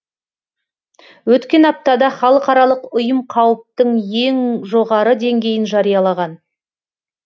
өткен аптада халықаралық ұйым қауіптің ең жоғары деңгейін жариялаған